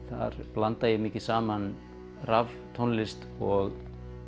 þar blanda ég mikið saman raftónlist og